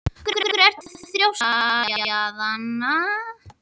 Af hverju ertu svona þrjóskur, Aríaðna?